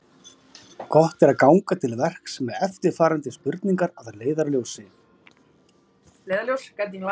Gott er ganga til verks með eftirfarandi spurningar að leiðarljósi: